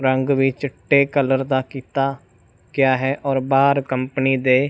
ਰੰਗ ਵਿੱਚ ਚਿੱਟੇ ਕਲਰ ਦਾ ਕੀਤਾ ਗਿਆ ਹੈ ਔਰ ਬਾਹਰ ਕੰਪਨੀ ਦੇ।